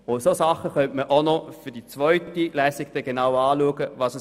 Solche Dinge könnte man für die zweite Lesung genau anschauen.